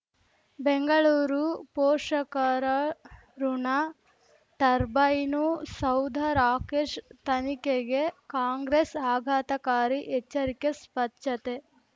ಬೆಂಗಳೂರು ಪೋಷಕರಋಣ ಟರ್ಬೈನು ಸೌಧ ರಾಕೇಶ್ ತನಿಖೆಗೆ ಕಾಂಗ್ರೆಸ್ ಆಘಾತಕಾರಿ ಎಚ್ಚರಿಕೆ ಸ್ವಚ್ಛತೆ